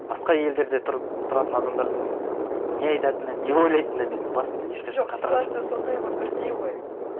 басқа елдерде тұратын адамдардың не айтатыны не ойлайтыны менің басымды ешқашан қатырған жоқ жоқ ситуация сондай ғой бірдей ғой